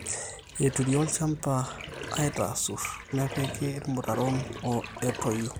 eturri olchamba aaiitaasur nepiki irmutaron etoyio